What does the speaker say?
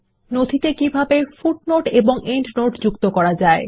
নথিতে কিভাবে পাদলেখ ও এন্ডনোট যোগ করা যায়